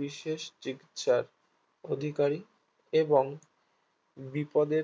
বিশেষ শিক্ষার অধিকারী এবং বিপদে